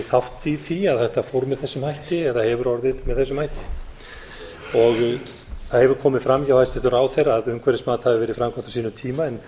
þátt í því að þetta fór með þessum hætti eða hefur orðið með þessum hætti það hefur komið að hjá hæstvirtum ráðherra að umhverfismat hafi verið framkvæmt á sínum tíma en